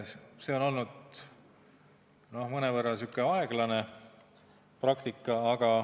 See on olnud mõnevõrra aeglane praktika.